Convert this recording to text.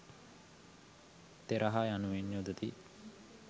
තෙරහ යනුවෙන් යොදති.